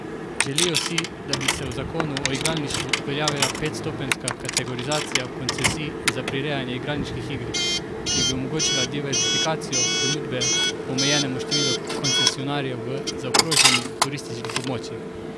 Želijo si, da bi se v zakonu o igralništvu uveljavila petstopenjska kategorizacija koncesij za prirejanje igralniških iger, ki bi omogočala diverzifikacijo ponudbe omejenemu številu koncesionarjev v zaokroženih turističnih območjih.